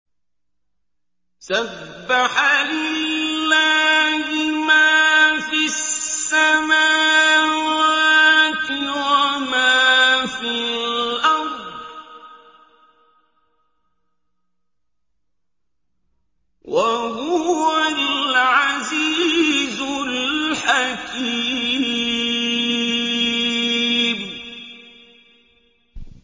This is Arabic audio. سَبَّحَ لِلَّهِ مَا فِي السَّمَاوَاتِ وَمَا فِي الْأَرْضِ ۖ وَهُوَ الْعَزِيزُ الْحَكِيمُ